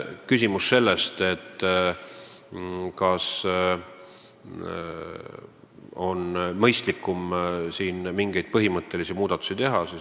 Küsimus selle kohta, kas on mõistlik teha siin mingeid põhimõttelisi muudatusi.